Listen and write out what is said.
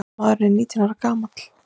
Maðurinn er nítján ára gamall.